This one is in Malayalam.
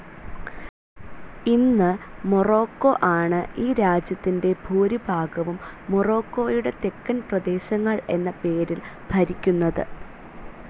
ഇന്ന് മൊറോക്കോ ആണ് ഈ രാജ്യത്തിൻ്റെ ഭൂരിഭാഗവും, മൊറോക്കോയുടെ തെക്കൻ പ്രദേശങ്ങൾ എന്ന പേരിൽ, ഭരിക്കുന്നത്.